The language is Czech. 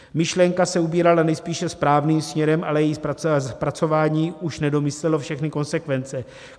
Myšlenka se ubírala nejspíše správným směrem, ale její zpracování už nedomyslelo všechny konsekvence.